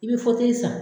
I bɛ san